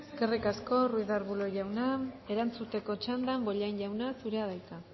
eskerrik asko ruiz de arbulo jauna erantzuteko txandan bollain jauna zurea da hitza